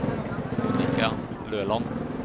Monica Løland